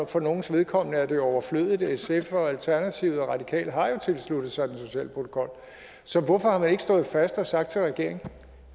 for nogles vedkommende er det overflødigt for sf og alternativet og de radikale har jo tilsluttet sig den sociale protokol så hvorfor har man ikke stået fast og sagt til regeringen